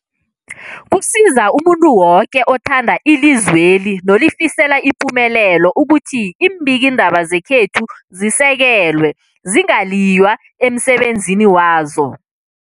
Kusiza umuntu woke othanda ilizweli nolifisela ipumelelo ukuthi iimbikiindaba zekhethu zisekelwe, zingaliywa emsebenzini wazo.